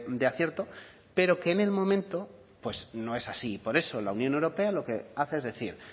de acierto pero que en el momento pues no es así por eso la unión europea lo que hace es decir